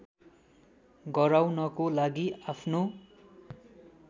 गराउनको लागि आफ्नो